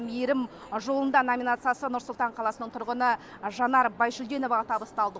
мейірім жолында номинациясы нұр сұлтан қаласының тұрғыны жанар байжүлденоваға табысталды